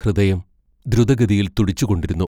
ഹൃദയം ദ്രുതഗതിയിൽ തുടിച്ചുകൊണ്ടിരുന്നു.